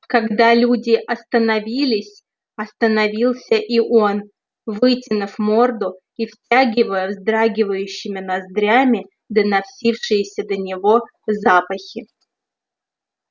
когда люди остановились остановился и он вытянув морду и втягивая вздрагивающими ноздрями доносившиеся до него запахи